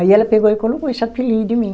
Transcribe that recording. Aí ela pegou e colocou esse apelido em mim.